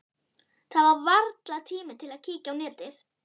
Það er varla tími til að kíkja á netið.